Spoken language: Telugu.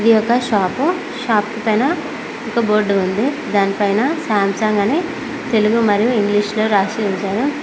ఇది ఒక షాపు షాప్ పైన ఒక బోర్డు ఉంది దాని పైన సాంసంగ్ అని తెలుగు మరియు ఇంగ్లీష్ లో రాసి ఉంచారు.